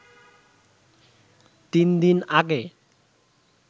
৩ দিন আগে